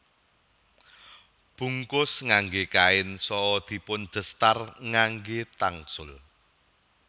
Bungkus ngangge kain saha dipundestar ngangge tangsul